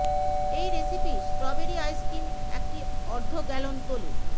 এই recipe strawberry ice cream একটি অর্ধ গ্যালন তোলে